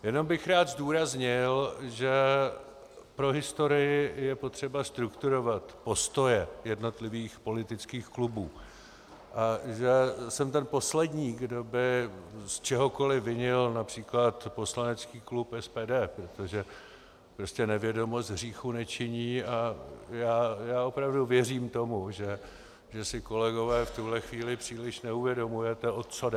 Jenom bych rád zdůraznil, že pro historii je potřeba strukturovat postoje jednotlivých politických klubů a že jsem ten poslední, kdo by z čehokoliv vinil například poslanecký klub SPD, protože prostě nevědomost hříchu nečiní a já opravdu věřím tomu, že si, kolegové, v tuhle chvíli příliš neuvědomujete, o co jde.